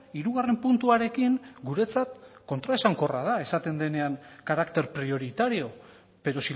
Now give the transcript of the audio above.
hirugarren puntuarekin guretzat kontraesankorra da esaten denean carácter prioritario pero